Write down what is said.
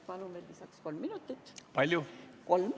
Palun veel lisaks kolm minutit!